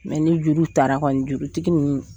ni juru tara kɔni jurutigi ninnu